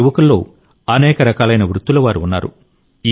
ఈ యువకుల్లో అనేక రకాలైన వృత్తుల వారు ఉన్నారు